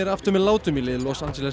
með látum í lið Los Angeles